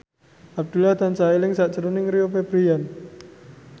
Abdullah tansah eling sakjroning Rio Febrian